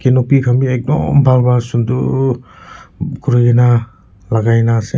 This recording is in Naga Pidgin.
lopi khan bi ekdum bhal pa sunder kurina banaina ase.